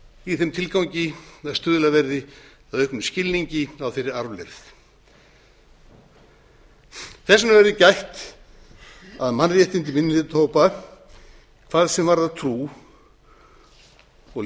í þeim tilgangi að stuðlað verði að auknum skilningi á þeirri arfleifð þess verði gætt að mannréttindi minnihlutahópa hvað varðar trú og lífsviðhorf verði í